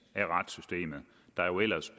af retssystemet der jo ellers